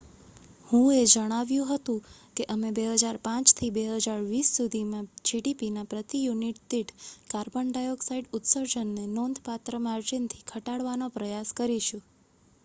"હુએ જણાવ્યું હતું કે "અમે 2005 થી 2020 સુધીમાં જીડીપીના પ્રતિ યુનિટ દીઠ કાર્બન ડાયોક્સાઇડ ઉત્સર્જનને નોંધપાત્ર માર્જિનથી ઘટાડવાનો પ્રયાસ કરીશું.""